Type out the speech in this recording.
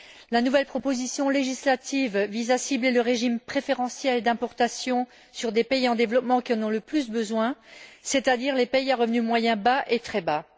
La nouvelle proposition législative vise à cibler le régime préférentiel d'importation sur des pays en développement qui en ont le plus besoin, c'est à dire les pays à revenus moyens bas et très bas.